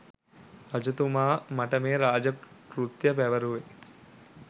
රජතුමා මට මේ රාජ කෘත්‍ය පැවරුවේ